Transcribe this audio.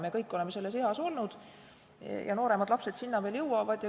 Me kõik oleme selles eas olnud ja nooremad lapsed sinna veel jõuavad.